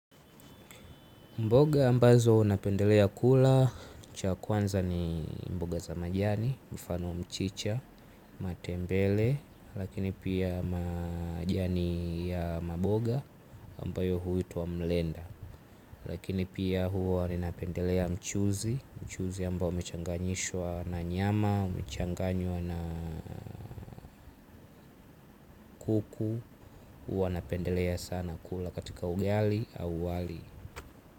Mboga ambazo napendelea kula, cha kwanza ni mboga za majani, mfano wa mchicha, matembele, lakini pia majani ya maboga ambayo huitwa mlenda. Lakini pia huwa napendelea mchuuzi, mchuuzi ambao umechanganyishwa na nyama, umechanganywa na kuku, huo napendelea sana kula katika ugali au wali.